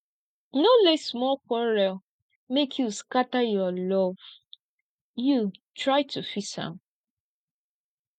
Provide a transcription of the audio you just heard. no let small quarrel make you scatter your love you try to fix am